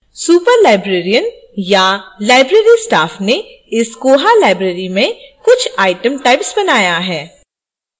superlibrarian या library staff ने इस koha library में कुछitem types बनाया है